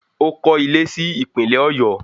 Ó kọ́ ilé si Ìpínlẹ̀ Ọ̀yọ́